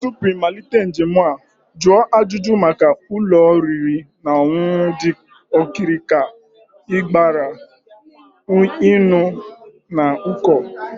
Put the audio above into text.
Tupu ịmalite njem a, jụọ ajụjụ maka ụlọ oriri na ọṅụṅụ dị okirikiri ka ịghara ịnọ n'uko